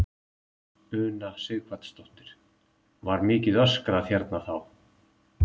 Una Sighvatsdóttir: Var mikið öskrað hérna þá?